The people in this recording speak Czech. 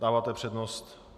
Dáváte přednost.